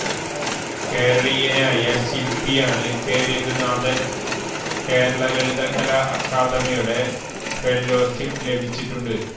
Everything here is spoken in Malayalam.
കേരളീയനായ ശിൽപ്പിയാണ് കെ രഘുനാഥൻ കേരള ലളിത കലാ അക്കാദമിയുടെ ഫെല്ലോഷിപ്പ് ലഭിച്ചിട്ടുണ്ട്